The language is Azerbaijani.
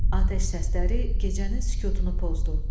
Atəş səsləri gecənin sükutunu pozdu.